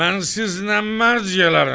Mən sizlə mərc elərəm.